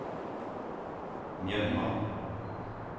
Mjømna